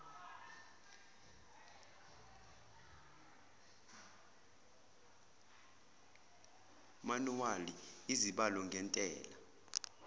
manuwali izibalo ngentela